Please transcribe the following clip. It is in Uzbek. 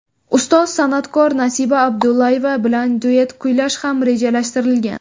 Ustoz san’atkor Nasiba Abdullayeva bilan duet kuylash ham rejalashtirilgan.